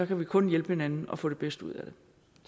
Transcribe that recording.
kan kun hjælpe hinanden og få det bedste ud